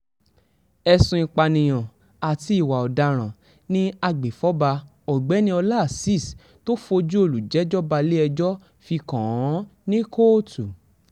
ẹ̀sùn ìpànìyàn àti ìwà ọ̀daràn ni agbefọ́ba ọ̀gbẹ́ni ọlá azeez tó fojú olùjẹ́jọ́ balẹ̀-ẹjọ́ fi kàn án ní kóòtù